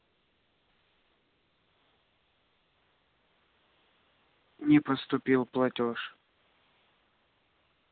не поступил платёж